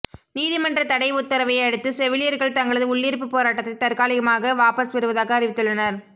நீதிமன்ற தடை உத்தரவை அடுத்து செவிலியர்கள் தங்களது உள்ளிருப்புப் போராட்டத்தை தற்காலிகமாக வாபஸ் பெறுவதாக அறிவித்துள்ளனர்